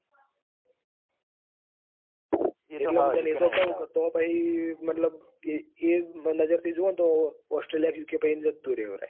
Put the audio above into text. એટલે હું તને એતો કું છું કે પછી તો મતલબ કે એ જ નજર થી જોઈએ તો australia કે UK કે એમ જતું રેવાય.